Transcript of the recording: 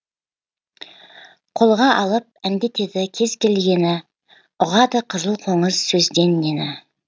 қолға алып әндетеді кез келгені ұғады қызыл қоңыз сөзден нені